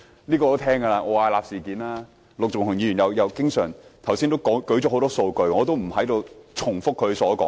我也聽聞過奧雅納事件，陸頌雄議員剛才也列舉了很多數據，我不重複他的說話。